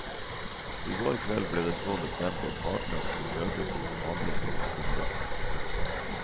I går kveld ble det så bestemt at partene skulle møtes til forhandlinger i ettermiddag.